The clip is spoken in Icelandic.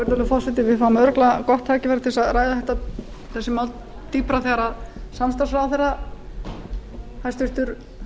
virðulegur forseti við fáum örugglega gott tækifæri til þess að ræða mál dýpra þegar hæstvirtur